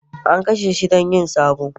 an kashe shi don yin sabo